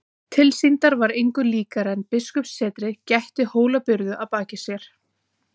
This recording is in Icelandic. Tilsýndar var engu líkara en biskupssetrið gætti Hólabyrðu að baki sér.